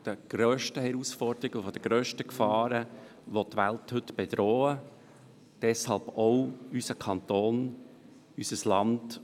Er ist eine der grössten Herausforderungen und Gefahren, die die Welt heute bedrohen, auch unseren Kanton und unser Land.